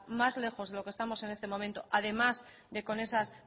más lejos de lo que estamos en este momento además de con esas